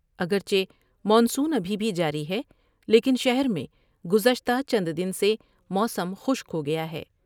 اگر چہ مانسون ابھی بھی جاری ہے لیکن شہر میں گزشتہ چند دن سے موسم خشک ہو گیا ہے ۔